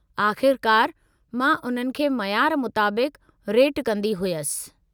आख़िरकार, मां उन्हनि खे मयारु मुताबिक़ु रेटु कंदी हुयसि।